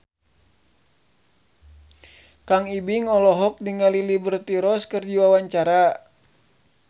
Kang Ibing olohok ningali Liberty Ross keur diwawancara